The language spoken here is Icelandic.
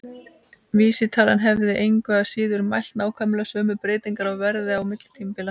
Vísitalan hefði engu að síður mælt nákvæmlega sömu breytingar á verði á milli tímabila.